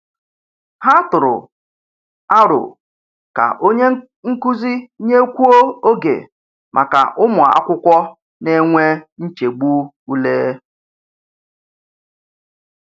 Ha tụrụ aro ka onye nkuzi nyekwuo oge maka ụmụ akwụkwọ na-enwe nchegbu ule.